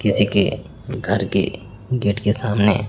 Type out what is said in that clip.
किसी के घर के गेट के सामने--